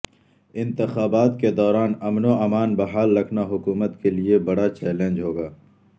انتخابات کے دوران امن و امان بحال رکھنا حکومت کے لیے بڑا چیلنج ہوگا